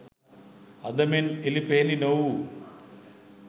අද මෙන් එළිපෙහෙළි නොවූ